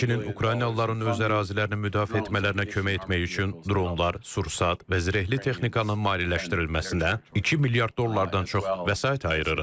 Həmçinin Ukraynalıların öz ərazilərini müdafiə etmələrinə kömək etmək üçün dronlar, sursat və zirehli texnikanın maliyyələşdirilməsinə 2 milyard dollardan çox vəsait ayırırıq.